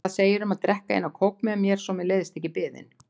Hvað segirðu um að drekka eina kók með mér svo mér leiðist ekki biðin?